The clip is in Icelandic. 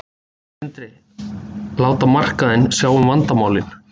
Sindri: Láta markaðinn sjá um vandamálin?